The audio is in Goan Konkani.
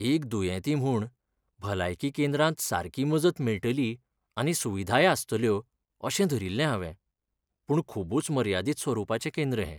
एक दुयेंती म्हूण, भलायकी केंद्रांत सारकी मजत मेळटली आनी सुविधाय आसतल्यो अशें धरिल्लें हावें. पूण खूबच मर्यादीत स्वरुपाचें केंद्र हें!